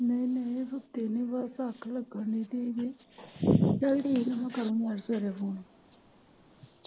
ਨਹੀਂ ਨਹੀਂ ਸੁੱਤੇ ਨੀ ਬਸ ਅੱਖ ਲੱਗਣ ਦੀ ਸੀਗੀ ਚੱਲ ਠੀਕ ਐ ਮੈਂ ਕਰਨੀ ਆ ਸਵੇਰੇ ਫੋਨ।